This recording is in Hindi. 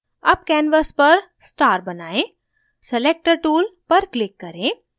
अब canvas पर star बनाएं selector tool पर click करें